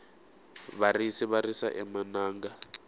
varisi va risa emananga